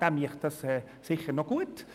Er würde das sicher gut machen.